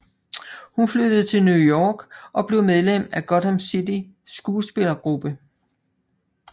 Hun flyttede til New York og blev medlem i Gotham City skuespillergruppe